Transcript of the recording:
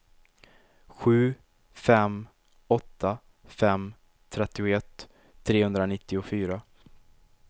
sju fem åtta fem trettioett trehundranittiofyra